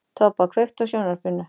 Tobba, kveiktu á sjónvarpinu.